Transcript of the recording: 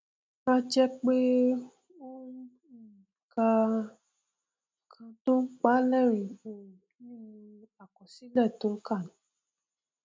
a jẹ pé ó um ka nkan tó pàá lẹrìnín um nínú àkọsílẹ tó nkà ni